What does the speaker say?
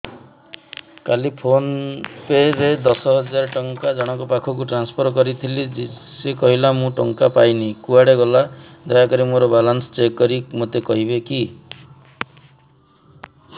କାଲି ଫୋନ୍ ପେ ରେ ଦଶ ହଜାର ଟଙ୍କା ଜଣକ ପାଖକୁ ଟ୍ରାନ୍ସଫର୍ କରିଥିଲି ସେ କହିଲା ମୁଁ ଟଙ୍କା ପାଇନି କୁଆଡେ ଗଲା ଦୟାକରି ମୋର ବାଲାନ୍ସ ଚେକ୍ କରି ମୋତେ କହିବେ କି